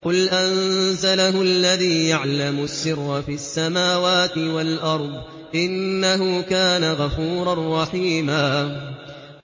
قُلْ أَنزَلَهُ الَّذِي يَعْلَمُ السِّرَّ فِي السَّمَاوَاتِ وَالْأَرْضِ ۚ إِنَّهُ كَانَ غَفُورًا رَّحِيمًا